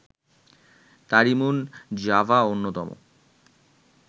তারিমুন Java অন্যতম